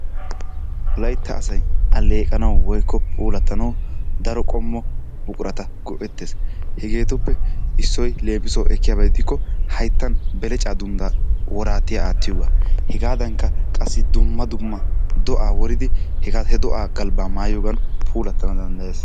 Wolaytta asay alleeqanaw woykko puulatanawu daro qommo buqurata go''ettees. hegetuppe issoy leemissuwawu ekkiyaaba gidikko hayttan beleccaa dundda woraatiya aattiyoogaa. Hegadankka qassi dumma dumma do'aa woridi he do'aa galbba mayyiyoogan puulatana danddayees.